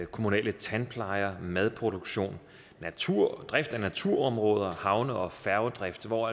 kommunale tandplejer madproduktion natur og drift af naturområder havne og færgedrift hvor